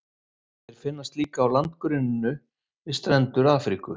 Þeir finnast líka á landgrunninu við strendur Afríku.